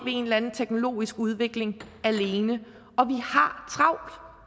en eller anden teknologisk udvikling alene